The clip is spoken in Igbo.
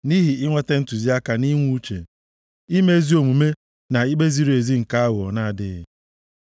nʼihi inweta ntụziaka nʼinwe uche, ime ezi omume na ikpe ziri ezi nke aghụghọ na-adịghị.